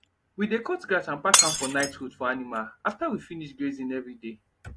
we de cut grass and pack am for night food for animal afta we finish grazing every day